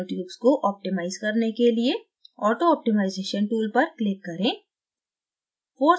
nanotubes को optimize करने के लिए auto optimization tool पर click करें